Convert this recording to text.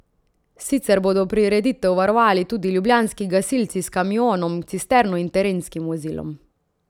Sicer bodo prireditev varovali tudi ljubljanski gasilci s kamionom cisterno in terenskim vozilom.